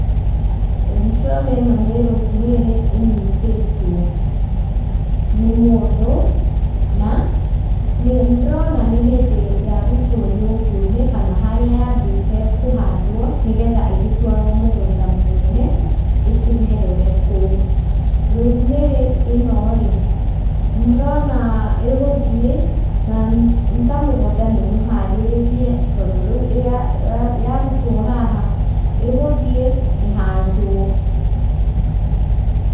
Ĩĩ nĩ tũrona ĩno nĩ rosemary ĩnyitĩtwo nĩ mũndũ na nĩndĩrona nĩ hĩndĩ yarutwo nyũngũ-inĩ kana harĩa yambĩte kũhandwo nĩgetha ĩgĩtwarwo mũgũnda mũnene ĩkĩmerere kũu. Rosemary ĩno rĩ, nĩndĩrona ĩgũthiĩ, na nĩ ta mũgũnda nĩ mũharĩrĩrie tondũ rĩu yarutwo haha ĩgũthiĩ ĩhandwo.